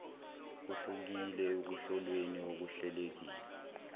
kuhlukile ekuhlolweni okuhlelelekile